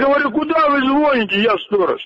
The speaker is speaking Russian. говорю куда вы звоните я сторож